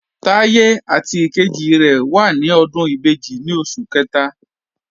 Táyé àti ìkejì rẹ̀ wà ní ọdún ìbejì ní oṣù kẹta